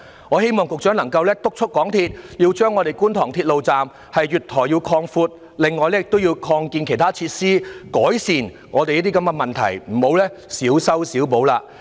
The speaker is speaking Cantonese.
我希望局長能夠督促港鐵公司，擴闊觀塘鐵路站月台，還要擴建其他設施，改善這些問題，不要再小修小補。